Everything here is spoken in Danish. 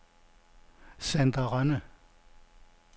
Sandra Rønne